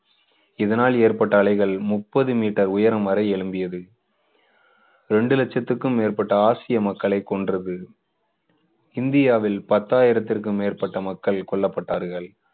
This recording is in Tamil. இதனால் ஏற்பட்ட அலைகள் முப்பது மீட்டர் உயரம் வரை எழும்பியது ரெண்டு லட்சத்துக்கும் மேற்பட்ட ஆசிய மக்களை கொன்றது. இந்தியாவில் பத்தாயிரத்திற்கு மேற்பட்ட மக்கள் கொல்லப்பட்டார்கள்.